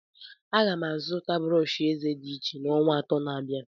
Aga m azụta brọsh eze dị iche n'ọnwa atọ na-abịa.